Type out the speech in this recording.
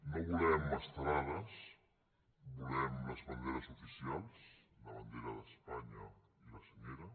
no volem estelades volem les banderes oficials la bandera d’espanya i la senyera